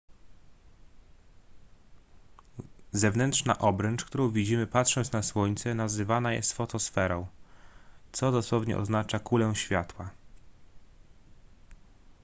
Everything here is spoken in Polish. zewnętrzna obręcz którą widzimy patrząc na słońce nazywana jest fotosferą co dosłownie oznacza kulę światła